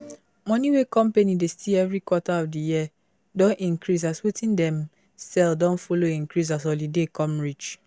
money wey company dey see every quarter of di year don increase as wetin dem sell don follow increase as holiday come reach